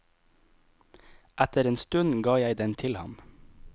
Etter en stund ga jeg den til ham.